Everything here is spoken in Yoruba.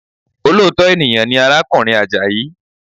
Olóòtọ́ ènìyàn ni arákùnrin Àjàyí